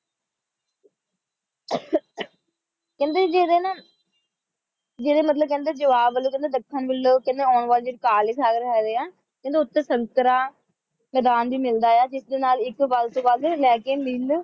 ਕਹਿੰਦੇ ਜਿਹਦੇ ਨਾ ਜਿਹਦੇ ਮਤਲਬ ਕਹਿੰਦੇ ਜਵਾਬ ਵੱਲੋਂ ਕਹਿੰਦੇ ਦੱਖਣ ਵੱਲੋਂ ਕਹਿੰਦੇ ਆਉਂਦੇ ਵਾਲੇ ਮਤਲਬ ਕਾਲੇ ਸਾਗਰ ਹੈਗੇ ਹੈ ਕਹਿੰਦੇ ਉੱਥੇ ਸੰਤਰਾ ਤੇ ਬਦਾਮ ਵੀ ਮਿਲਦਾ ਹੈ ਜਿਸ ਨਾਲ ਇੱਕ ਗਲਤ ਗੱਲ ਲੈਕੇ ਮਿਲ